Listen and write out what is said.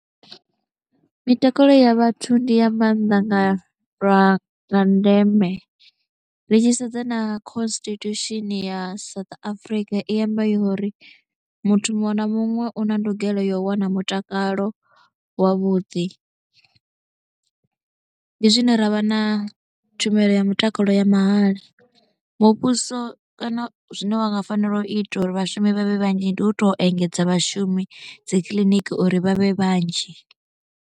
Mitakalo ya vhathu ndi ya maanḓa nga lwa ndeme ri tshi sedza na constitution ya South Africa i amba uri muthu muṅwe na muṅwe u na ndugelo yo wana mutakalo wavhuḓi, ndi zwine ra vha na tshumelo ya mutakalo ya mahala, muvhuso kana zwine wa nga fanela u ita uri vhashumi vha vhe vhanzhi ndi u tou engedza vhashumi dzi kiḽiniki uri vha vhe vhanzhi.